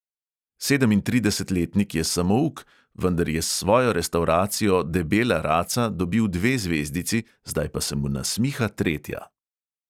Sedemintridesetletnik je samouk, vendar je s svojo restavracijo debela raca dobil dve zvezdici, zdaj pa se mu nasmiha tretja.